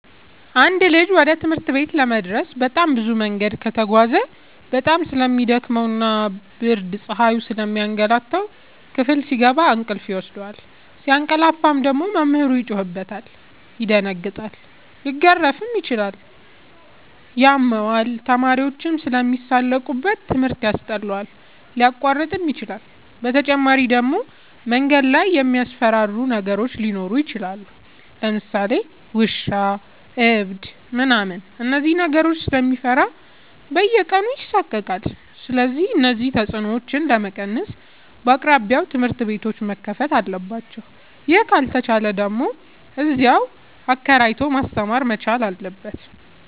አንድ ልጅ ወደ ትምህርት ቤት ለመድረስ በጣም ብዙ መንገድ ከተጓዘ በጣም ስለሚ ደክመው ብርድና ፀሀዩ ስለሚያገላታው። ክፍል ሲገባ እንቅልፍ ይወስደዋል። ሲያቀላፍ ደግሞ መምህሩ ይጮህበታል ይደነግጣል ሊገረፍም ይችላል ያመዋል፣ ተማሪዎችም ስለሚሳለቁበት ትምህርት ያስጠላዋል፣ ሊያቋርጥም ይችላል። በተጨማሪ ደግሞ መንገድ ላይ የሚያስፈራሩ ነገሮች ሊኖሩ ይችላሉ ለምሳሌ ውሻ እብድ ምናምን እነዚህን ነገሮች ስለሚፈራ በየቀኑ ይሳቀቃል። ስለዚህ እነዚህን ተፅኖዎች ለመቀነስ በየአቅራቢያው ትምህርት ቤቶዎች መከፈት አለባቸው ይህ ካልተቻለ ደግሞ እዚያው አከራይቶ ማስተማር መቻል አለበት።